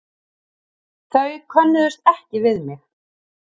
Þau könnuðust ekki við mig.